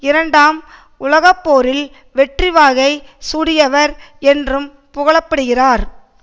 இரண்டாம் உலகப்போரில் வெற்றிவாகை சூடியவர் என்றும் புகழப்படுகிறார்